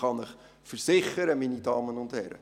Ich kann Ihnen versichern, meine Damen und Herren: